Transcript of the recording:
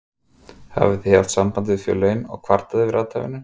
Hafið þið haft samband við félögin og kvartað yfir athæfinu?